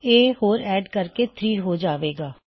ਇੱਕ ਹੋਰ ਐੱਡ ਕਰਕੇ ਇਹ 3 ਹੋ ਜਾਏ ਗਾ